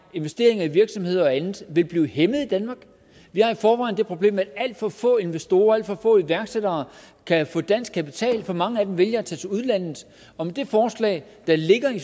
investeringer i virksomheder og andet vil blive hæmmet i danmark vi har i forvejen det problem at alt for få investorer og alt for få iværksættere kan få dansk kapital så mange af dem vælger til udlandet og med det forslag der ligger i